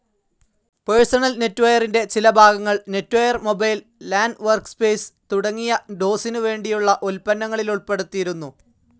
Personal നെറ്റ്വെയറിന്റെ ചില ഭാഗങ്ങൾ നെറ്റ്വെയർ മൊബൈൽ, ലാൻ വർക്ക്സ്പേസ്‌ തുടങ്ങിയ ഡോസിനു വേണ്ടിയുള്ള ഉൽപ്പന്നങ്ങളിലുൾപ്പെടുത്തിയിരുന്നു.